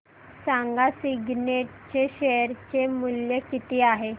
सांगा सिग्नेट चे शेअर चे मूल्य किती आहे